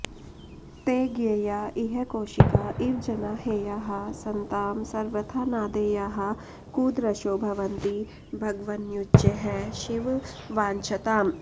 ते ज्ञेया इह कौशिका इव जना हेयाः सतां सर्वथा नादेयाः कुदृशो भवन्ति भगवन्युच्चैःशिव वाञ्छताम्